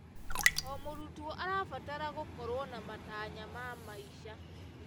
O mũrutwo arabatara gũkorwo na matanya ma maica.